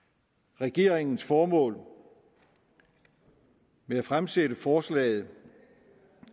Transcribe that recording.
regeringens formål med at fremsætte forslaget